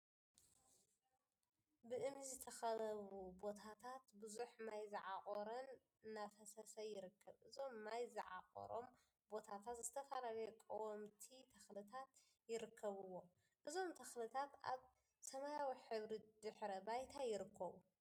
ብእምኒ ዝተካከበቡ ቦታታት ብዙሕ ማይ ዝዓቆረን እናፈሰሰ ይርከብ፡፡ እዞም ማይ ዝዓቆሮም ቦታታት ዝተፈላለዩ ቀወምቲ ተክሊታት ይርከብዎም፡፡ እዞም ተክሊታት አብ ሰማያዊ ሕብሪ ድሕረ ባይታ ይርከቡ፡፡